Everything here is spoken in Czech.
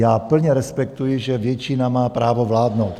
Já plně respektuji, že většina má právo vládnout.